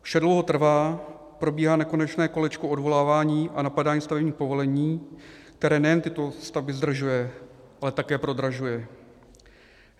Vše dlouho trvá, probíhá nekonečné kolečko odvolávání a napadání stavebních povolení, které nejen tyto stavby zdržuje, ale také prodražuje.